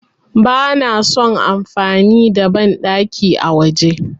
Bana son amfani da banɗaki a waje.